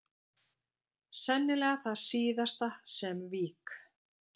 Sennilega það síðasta sem vík